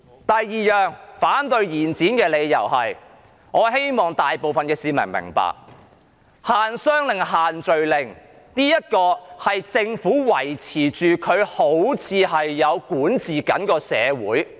第二個反對延展的理由，是我希望大部分市民皆明白到，限商令及限聚令的目的，是政府用以證明自己仍然存在，管治社會。